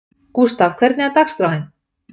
Gústaf, hvernig er dagskráin?